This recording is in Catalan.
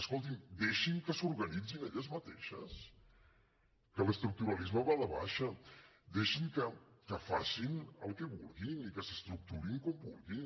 escolti’m deixin que s’organitzin elles mateixes que l’estructuralisme va de baixa deixin que facin el que vulguin i que s’estructurin com vulguin